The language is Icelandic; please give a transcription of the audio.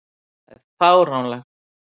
Það er fáránlegt.